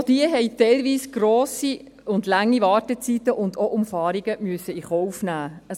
Auch diese mussten teilweise grosse und lange Wartezeiten und auch Umfahrungen in Kauf nehmen.